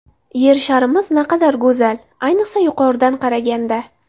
Yer sharimiz naqadar go‘zal, ayniqsa yuqoridan qaraganda!